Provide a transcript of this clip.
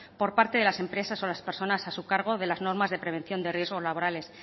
por parte de las empresas o las personas a su cargo de las normas de prevención de riesgos laborales